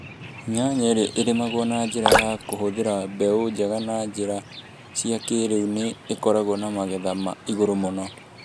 Nyanya iria irĩmagũo na njĩra ya kũhũthĩra mbeũ njega na njĩra cia kĩĩrĩu nĩ ikoragũo na magetha ma igũrũ mũno.